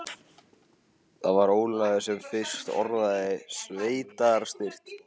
Það var Ólafur sem fyrst orðaði sveitarstyrk.